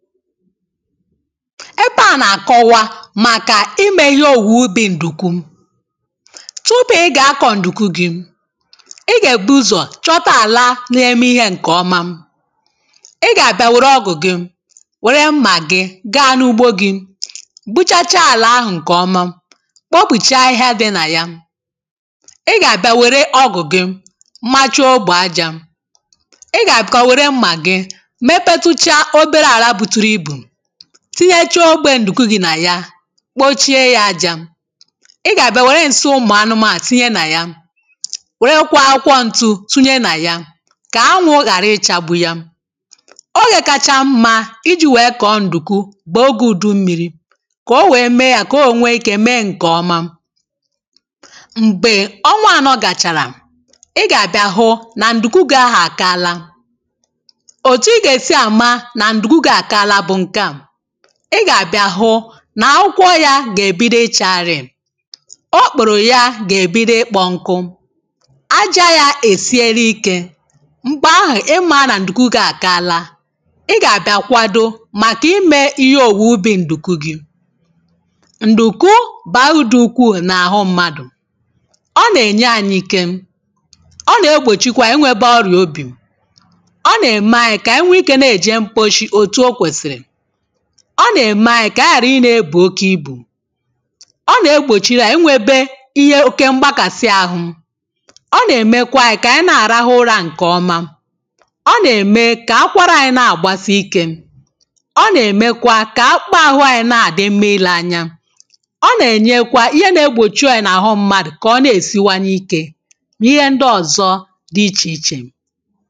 ebe a na-akọwa màkà imė ihe òwùwè ubi̇ ǹdùkwu tupu ị gà-akọ̀ ǹdùkwu gị̇ ị gà-èbu ụzọ̀ chọta àla na-eme ihe ǹkè ọma ị gà-àbịa wère ọgwụ̀ gị wère mmà gị gaa n’ugbo gị buchacha àlà ahụ̀ ǹkè ọma kpopùchaa ihe dị nà ya ị gà-àbịa wère ọgwụ̀ gị machaogbȯ ajȧ ị gà-àbịkà wère mmà gị tinyecha ogbe ǹdùkú gị nà ya kpochie ya ajȧ ị gà-àbịa wère ǹsị ụmụ̀anụmȧ tinye nà ya wèrekwa akwọ ǹtụ tinye nà ya kà anwụ ghàra ịchȧ bụ ya ogè kacha mma iji̇ wèe kọ̀ọ ǹdùkú bụ̀ ogė ùdùmịrì kòo wèe mee ya kà o ònwe ikė mee ǹkè ọma m̀gbè ọnwa ànọ gàchàrà ị gà-àbịa hụ nà ǹdùkú gị ahụ̀ àkala ị gà-àbịa hụ nà akwụkwọ ya gà-èbido ichȧrì o kpòrò ya gà-èbido kpọ̀nkụ aja ya èsiere ike m̀gbè ahụ̀ ị mȧra nà ǹdùkwu a kala ị gà-àbịa kwado màkà imė ihe òwùwuubì ǹdùkwu gi ǹdùkwu bàrudu ukwuù n’àhụ mmadù ọ nà-ènye ànyịke ọ nà-egbòchikwa inwėbe ọrì obì ọ nà-ème anyị kà anyị nwee ike na-èje mkposhi ọ nà-ème anyị̇ kà a gà-àhụ i ne-ebù oke ibù ọ nà-egbòchiri anyị̇ nwėbė ihe oke mgbakàsi ahụ̇ ọ nà-èmekwa anyị̇ kà ànyị na-àrahụ ụrȧà nkè ọma ọ nà-ème kà akwarà anyị̇ na-àgbasi ikė ọ nà-èmekwa kà akpaahụi anyị̇ na-àdị mma ilė anya ọ nà-ènyekwa ihe na-egbòchie ọyị̇ nà-àhụ mmadụ̀ kà ọ na-èsiwa n’ike nà ihe ndị ọ̀zọ dị ichè ichè